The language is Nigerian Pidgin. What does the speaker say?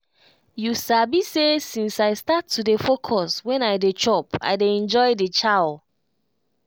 you sabi say since i start to dey focus when i dey chop i dey enjoy the chow.